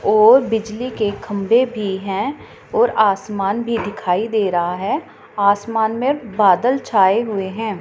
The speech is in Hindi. और बिजली के खंभे भी है और आसमान भी दिखाई दे रहा है आसमान में बादल छाए हुए हैं।